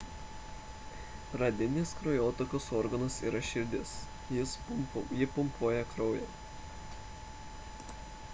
pagrindinis kraujotakos organas yra širdis ji pumpuoja kraują